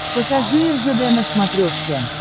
покажи ржд на смотрешке